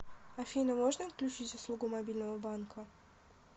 афина можно отключить услугу мобильного банка